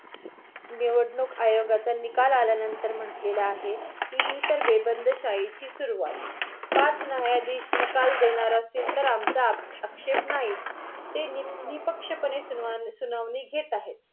निवडणूक आयोगाचा निकाल आल्यानंतर म्हंटलेल आहे कि ही तर बेबंदीशाही ची सुरुवात. पाच न्यायाधीश निकाल देणार असतील तर आमच्या आ आक्षेप नाही. ते नि निपक्ष सुनावणी घेत आहे.